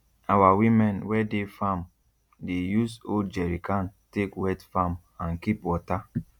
our women wey dey farm dey use old jerrycan take wet farm and keep water